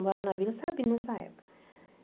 Eu morava na Vila Sabine nessa época.